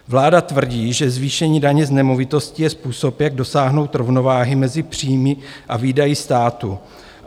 Vláda tvrdí, že zvýšení daně z nemovitostí je způsob, jak dosáhnout rovnováhy mezi příjmy a výdaji státu.